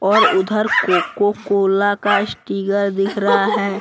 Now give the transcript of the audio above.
और उधर Coca Cola का स्टीगर दिख रहा है।